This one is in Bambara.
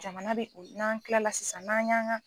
Jamana de don n'an kilala sisan n'a y'ang a